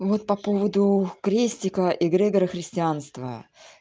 вот по поводу крестика и грегора христианства